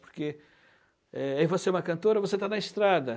Porque você, eh, aí você é uma cantora, você está na estrada.